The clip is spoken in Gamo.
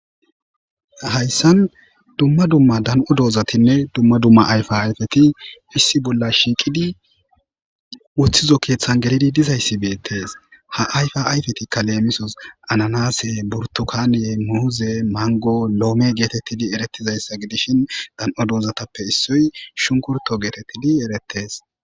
hayssan dumma dumma dan7o doozatinne dumma dumma ayfa ayfeti issi bolla shiiqidi wuththizo keeththan gelidi dizayssi bettes ha ayfa ayfetikka leemisos ananase burtukane muuze mango loome geetettidi erettizayssa gidishin dan7o doozatappe issoy shunkurto geetettidi erettes